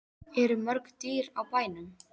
Eru mörg dýr á bænum?